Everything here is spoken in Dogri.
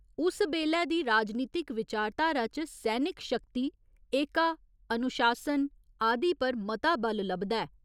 उस बेल्लै दी राजनीतिक विचारधारा च सैनिक शक्ति, एका, अनुशासन आदि पर मता बल लभदा ऐ।